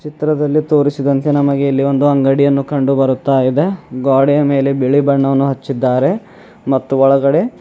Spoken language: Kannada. ಚಿತ್ರದಲ್ಲಿ ತೋರಿಸಿದಂತೆ ನಮಗೆ ಇಲ್ಲಿ ಒಂದು ಅಂಗಡಿಯನ್ನು ಕಂಡು ಬರುತ್ತಾ ಇದೆ ಗ್ವಾಡೆಯ ಮೇಲೆ ಬಿಳಿ ಬಣ್ಣವನ್ನು ಹಚ್ಚಿದ್ದಾರೆ ಮತ್ತು ಒಳಗಡೆ--